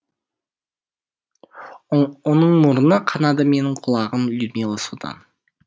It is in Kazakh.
оның мұрны қанады менің құлағым людмила содан